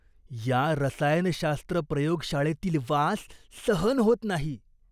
या रसायनशास्त्र प्रयोगशाळेतील वास सहन होत नाही.